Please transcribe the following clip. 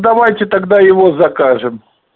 давайте тогда его закажем